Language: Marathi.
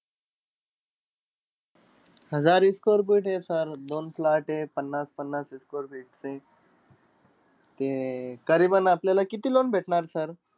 हजार square feet आहे sir. दोन plot आहे पन्नास-पन्नास square feet चे. ते अं करीएबन आपल्याला किती loan भेटणार sir?